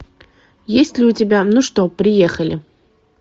есть ли у тебя ну что приехали